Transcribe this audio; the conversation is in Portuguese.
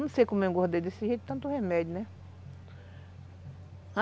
Não sei como engordei desse jeito, tanto remédio, né?